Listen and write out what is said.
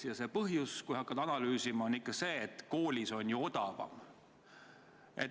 Ja see põhjus, kui hakkad analüüsima, võib olla ka see, et koolis on ju odavam.